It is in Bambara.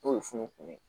N'o ye funukun ye